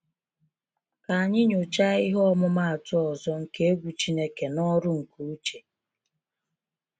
Ka anyị nyochaa ihe ọmụmaatụ ọzọ nke egwu Chineke n’ọrụ nke Uche.